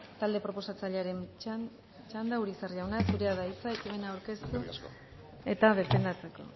talde proposatzailearen txanda urizar jauna zurea da hitza ekimena aurkeztu eta defendatzeko